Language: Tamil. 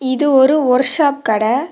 இது ஒரு ஓர்சாப் கடை.